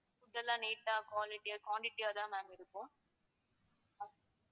அதெல்லாம் neat ஆ quality யா quantity யா தான் ma'am இருக்கும்.